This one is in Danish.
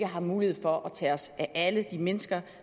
har mulighed for at tage os af alle de mennesker